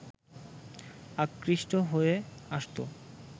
আকৃষ্ট হয়ে আসতো